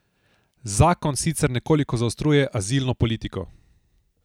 Zakon sicer nekoliko zaostruje azilno politiko.